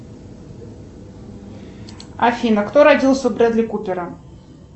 афина кто родился у бредли купера